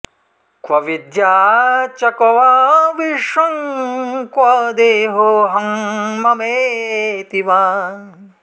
क्व विद्या च क्व वा विश्वं क्व देहोऽहं ममेति वा